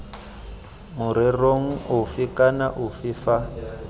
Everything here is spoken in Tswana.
morerong ofe kana ofe fa